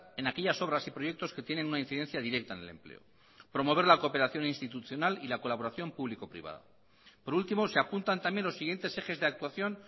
en aquellas obras y proyectos que tienen una incidencia directa en el empleo promover la cooperación institucional y la colaboración público privada por último se apuntan también los siguientes ejes de actuación